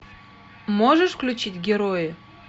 можешь включить герои